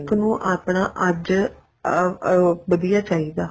ਨੂੰ ਆਪਣਾ ਅੱਜ ਅਹ ਵਧੀਆ ਚਾਹੀਦਾ